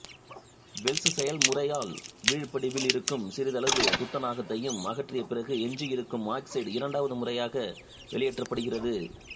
Wales செயல்முறையால் வீழ்படிவில் இருக்கும் சிறிதளவு துத்தநாகத்தையும் அகற்றிய பிறகு எஞ்சியிருக்கும் ஆக்சைடு இரண்டாவது முறையாக வெளியேற்றப்படுகிறது